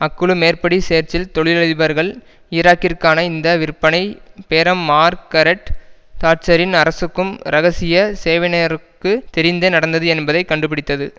அக்குழு மேற்படி சேர்ச்சில் தொழிலதிபர்கள் ஈராக்கிற்கான இந்த விற்பனை பேரம் மார்க்கரெட் தாட்சரின் அரசுக்கும் இரகசிய சேவையினருக்கு தெரிந்த நடந்தது என்பதை கண்டுபிடித்தது